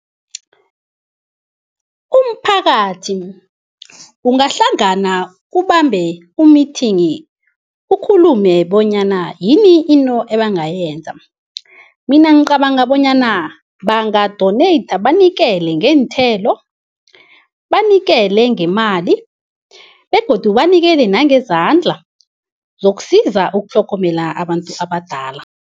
Umphakathi ungahlangana ubambe u-meeting, ukhulume bonyana yini into ebangayenza. Mina ngicabanga bonyana banga-donate banikele ngeenthelo, banikele ngemali begodu banikele nangezandla sokusiza ukutlhogomela abantu abadala.